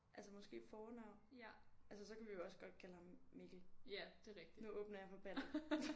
Altså måske fornavn? Altså så kan vi jo også godt kalde ham Mikkel. Nu åbner jeg for ballet